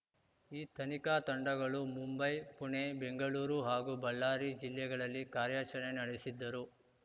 ಈ ತನಿಖಾ ತಂಡಗಳು ಮುಂಬೈ ಪುಣೆ ಬೆಂಗಳೂರು ಹಾಗೂ ಬಳ್ಳಾರಿ ಜಿಲ್ಲೆಗಳಲ್ಲಿ ಕಾರ್ಯಾಚರಣೆ ನಡೆಸಿದ್ದರು